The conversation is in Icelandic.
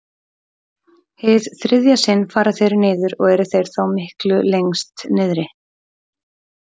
Hið þriðja sinn fara þeir niður og eru þeir þá miklu lengst niðri.